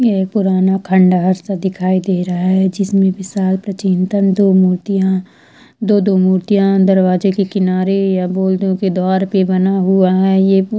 पुराना खंडर सा दिखाई दे रहा है जिसमे विशाल प्रचीनतं दो मूर्तिया दो दो मूर्तिया दरवाजे के किनारे या बोल दो की दीवार पे बना हुआ है ये--